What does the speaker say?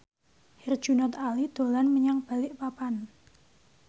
Herjunot Ali dolan menyang Balikpapan